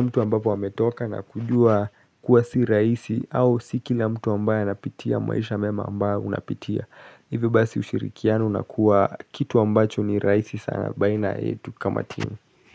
mtu ambapo hametoka na kujua kuwa si rahisi au si kila mtu ambayo ya napitia maisha mema ambayo unapitia Hive basi ushirikiano na kuwa kitu ambacho ni raisi sana baina etu kama team.